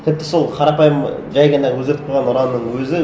тіпті сол қарапайым жай ғана өзгертіп қойған ұранның өзі